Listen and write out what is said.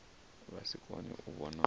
vha si kone u vhona